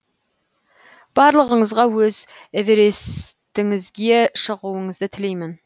барлығыңызға өз эверестіңізге шығуыңызды тілеймін